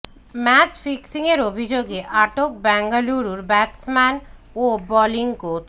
match ফিক্সিংয়ের অভিযোগে আটক ব্যাঙ্গালুরুর ব্যাটসম্যান ও বোলিং কোচ